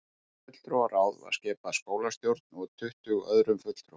Fulltrúaráð var skipað skólastjórn og tuttugu öðrum fulltrúum